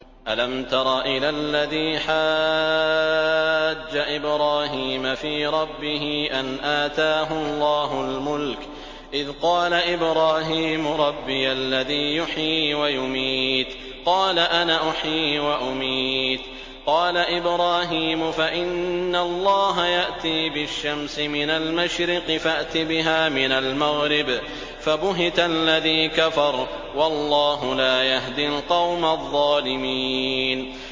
أَلَمْ تَرَ إِلَى الَّذِي حَاجَّ إِبْرَاهِيمَ فِي رَبِّهِ أَنْ آتَاهُ اللَّهُ الْمُلْكَ إِذْ قَالَ إِبْرَاهِيمُ رَبِّيَ الَّذِي يُحْيِي وَيُمِيتُ قَالَ أَنَا أُحْيِي وَأُمِيتُ ۖ قَالَ إِبْرَاهِيمُ فَإِنَّ اللَّهَ يَأْتِي بِالشَّمْسِ مِنَ الْمَشْرِقِ فَأْتِ بِهَا مِنَ الْمَغْرِبِ فَبُهِتَ الَّذِي كَفَرَ ۗ وَاللَّهُ لَا يَهْدِي الْقَوْمَ الظَّالِمِينَ